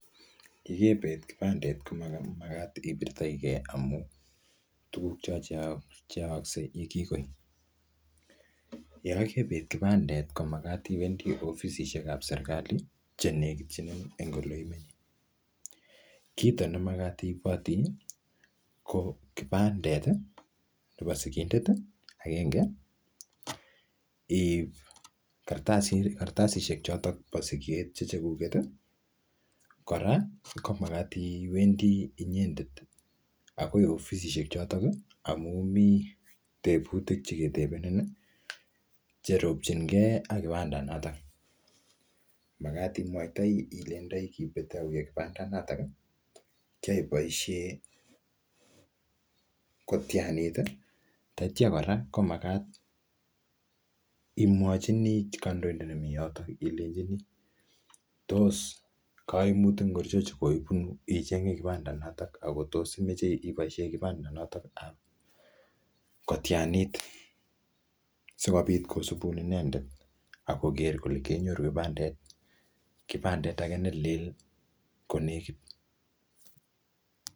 Yekebet kipandet komo magat ipirtokeiy amu, tuguk cho che che aaksei yekikoit. Yekabet kipandet ko magat iwendi ofisishekab serikali, che nekit, che nekit eng ole imenye. Kito nemagat iiboti, ko kipandet nebo sigindet agenge, iip kartasishek chotok bo siget che cheguget. Kora, ko magat iwendi inyendet agoi ofisishek chotok amu mii tebutik che ketebenin cheropchinkey ak kipandat natak. Magat imwaitoi ileindoi kibet auyio kipandat natak. Kiaboisie kotianit, tatya kora, ko magat imwochini kandoidet nemii yotok ilenjini tos kaimutik ngorcho che koibunu ichenge kipandat notok, akotos imeche iboisie kipandat natak ab kotianit, sikobit kosubun inendet akoker kele kenyoru kipandet, kipandet age ne lel ko nekit.